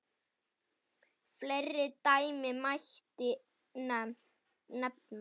Fleiri dæmi mætti nefna.